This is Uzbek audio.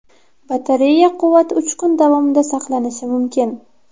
Batareya quvvati uch kun davomida saqlanishi mumkin.